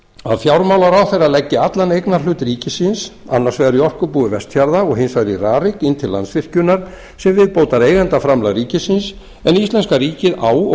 að fjármálaráðherra leggi allan eignarhlut ríkisins annars vegar í orkubúi vestfjarða og hins vegar í rarik inn til landsvirkjunar sem viðbótareigendaframlag ríkisins en íslenska ríkið á og